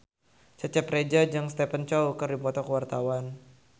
Cecep Reza jeung Stephen Chow keur dipoto ku wartawan